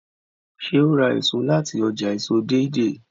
ṣe o rà èso láti ọjà èso Deidei?